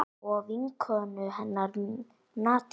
Og vinkonu hennar Nadiu.